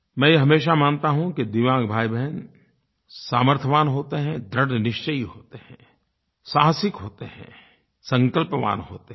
मैं ये हमेशा मानता हूँ कि दिव्यांग भाईबहन सामर्थ्यवान होते हैं दृढ़निश्चयी होते हैं साहसिक होते हैं संकल्पवान होते हैं